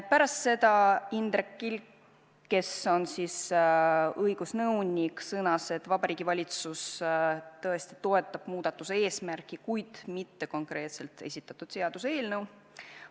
Pärast seda Indrek Kilk, kes on õigusnõunik, sõnas, et Vabariigi Valitsus tõesti toetab muudatuse eesmärki, kuid mitte konkreetselt esitatud seaduseelnõu.